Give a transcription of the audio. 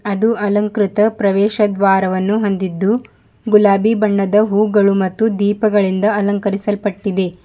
ಅದು ಅಲಂಕೃತ ಪ್ರವೇಶದ್ವಾರವನ್ನು ಹೊಂದಿದ್ದು ಗುಲಾಬಿ ಬಣ್ಣದ ಹೂಗಳು ಮತ್ತು ದೀಪಗಳಿಂದ ಅಲಂಕರಿಸಲ್ಪಟ್ಟಿದೆ.